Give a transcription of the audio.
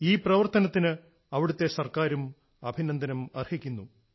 ഈ പ്രവർത്തനത്തിന് അവിടത്തെ സർക്കാറും അഭിനന്ദനം അർഹിക്കുന്നു